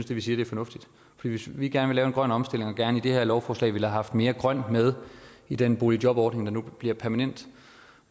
det vi siger er fornuftigt for hvis vi gerne vil lave en grøn omstilling og gerne i det her lovforslag ville have haft mere grønt med i den boligjobordning der nu bliver permanent